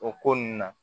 O ko nunnu na